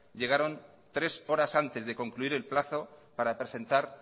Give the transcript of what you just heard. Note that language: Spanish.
llegaron tres horas antes de concluir el plazo para presentar